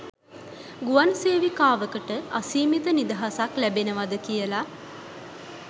ගුවන් සේවිකාවකට අසීමිත නිදහසක් ලැබෙනවද කියලා